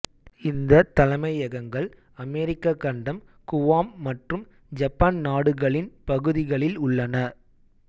இந்த தலைமையகங்கள் அமெரிக்க கண்டம் குவாம் மற்றும் ஜப்பன் நாடுகளின் பகுதிகளில் உள்ளன